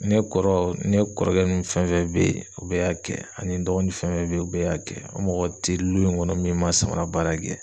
Ne kɔrɔ ne kɔrɔkɛ nunnu fɛn fɛn be ye u bɛɛ y'a kɛ ani n dɔgɔnin fɛn fɛn be ye u bɛɛ y'a kɛ. An mɔgɔ te lu in ŋɔnɔ min ma samara baara kɛ.